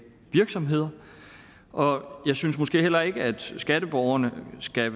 virksomheder og jeg synes måske heller ikke at skatteborgerne skal